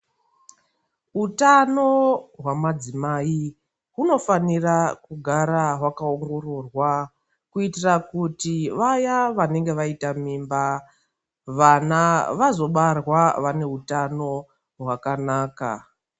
Utano hwamadzimai unofanira kugara wakaongororwa kuitira kuti vaya vanenge vaita mimba vana vazobarwa ngeutano hwakanaka.